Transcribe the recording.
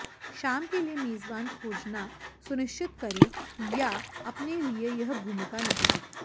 शाम के लिए मेजबान खोजना सुनिश्चित करें या अपने लिए यह भूमिका निभाएं